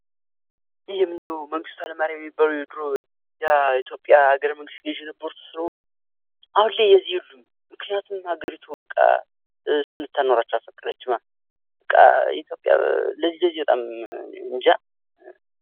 ይህም የምናየው መንግሥቱ ሀይለማርያም የሚባሉ የኢትዮጵያ አገረ መንግሥት ገዢ ስለነበሩ፤ አሁን ላይ እዚህ የሉም። ምክንያትም ሀገሪቱ እሱን ልታኖራቸው አልፈቀደችማ ። ለዚህ ለዚህ እማ እንጃ.